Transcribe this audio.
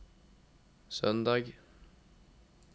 søndag